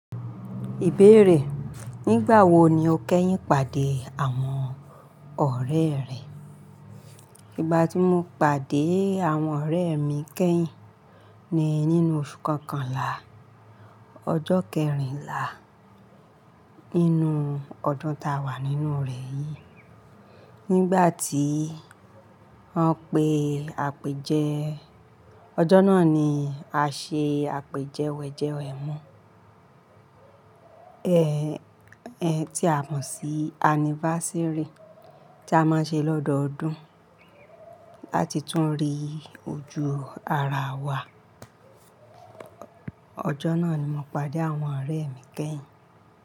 Ìbéèrè, nígbà wo ni o kẹ́yìn pàdé àwọn ọ̀rẹ́ rẹ? Ìgbà tí mo pàdé àwọn ọ̀rẹ́ mi kẹ́yìn ni nínú oṣù kọkànlá, ọjọ́ kẹrìnlá nínú ọdún tá a wà nínú rẹ̀ yìí. Nígbà tí wọ́n pe àpèjẹ, ọjọ́ náà ni a ṣe àpèjẹ wẹ̀jẹwẹ̀mu, ẹ́, ẹ́ tí a mọ̀ sí annivasérì tí a máa ń ṣe lọ́dọọdún láti tún rí ojú ara wa. Ọjọ́ náà ni mo pàdé àwọn ọ̀rẹ́ mi kẹ́yìn.